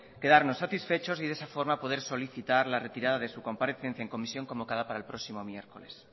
quedarnos satisfechos y de esa forma poder solicitar la retirada de su comparecencia en comisión convocada para el próximo miércoles